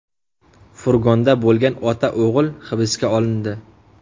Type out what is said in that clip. Furgonda bo‘lgan ota-o‘g‘il hibsga olindi.